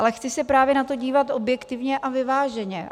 Ale chci se právě na to dívat objektivně a vyváženě.